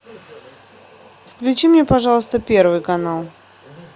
включи мне пожалуйста первый канал